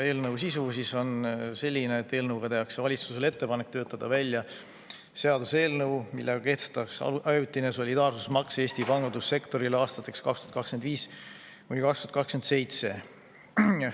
Eelnõu sisu on selline, et valitsusele tehakse ettepanek töötada välja seaduseelnõu, millega kehtestatakse ajutine solidaarsusmaks Eesti pangandussektorile aastateks 2025–2027.